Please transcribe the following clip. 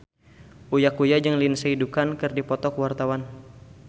Uya Kuya jeung Lindsay Ducan keur dipoto ku wartawan